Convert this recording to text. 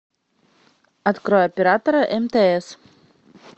открой оператора мтс